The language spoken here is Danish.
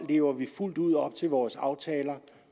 lever vi fuldt ud op til vores aftaler